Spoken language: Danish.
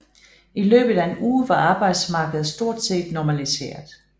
I løbet af en uge var arbejdsmarkedet stort set normaliseret